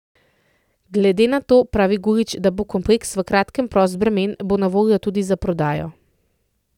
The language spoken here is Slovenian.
Glede na to, pravi Gulič, da bo kompleks v kratkem prost bremen, bo na voljo tudi za prodajo.